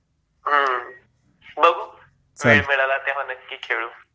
बघू वेळ मिळाला तर नक्की खेळू